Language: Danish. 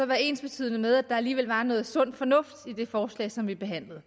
være ensbetydende med at der alligevel var noget sund fornuft i det forslag som vi behandlede